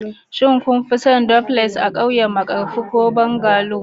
shin kun fi son duplex a ƙauyen markafi ko bungalow.